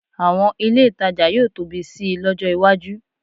Àwọn ilé ìtajà yóò tóbi sí i lọ́jọ́ iwájú